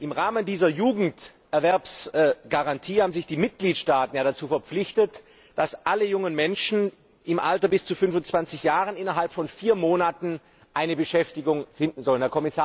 Im Rahmen dieser Jugenderwerbsgarantie haben sich die Mitgliedstaaten dazu verpflichtet, dass alle jungen Menschen im Alter bis zu 25 Jahren innerhalb von vier Monaten eine Beschäftigung finden sollen.